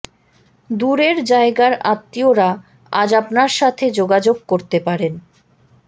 দূরের জায়গার আত্মীয়রা আজ আপনার সাথে যোগাযোগ করতে পারেন